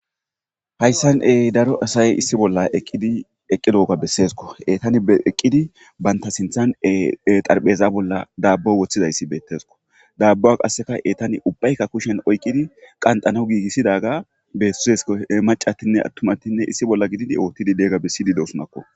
Hayssan ey daro asay issi bolla eqqidi eqqilooga besseesko etani eqqidi banta sinthan xarpheza bolla daabbo woththidayssi beettesko daabbuwa qasseka etani ubbaykka kushen oyqqidi qanxana giigissidaga bessesko macattinne attumatinne issi bolla gidid oottidi deega bessidi deosunakko.